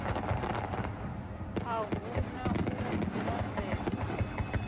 a hu na u lambedzwa